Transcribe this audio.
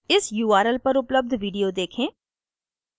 इस url पर उपलब्ध video देखें